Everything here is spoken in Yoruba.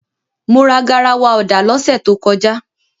Mo ra garawa ọ̀dà lọ́sẹ̀ tó kọjá.